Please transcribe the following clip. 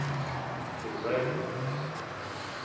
Þú verður.